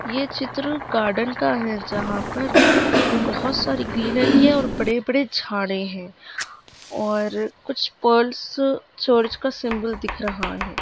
ये चित्र गार्डन का है जहा पर बहुत सारे ग्रीनरी है और बड़े-बड़े झाडे है और कुछ पल्स चर्च का सिम्बल दिख रहा है।